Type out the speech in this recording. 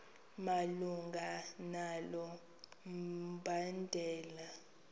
malunga nalo mbandela